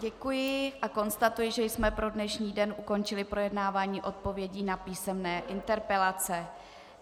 Děkuji a konstatuji, že jsme pro dnešní den ukončili projednávání odpovědí na písemné interpelace.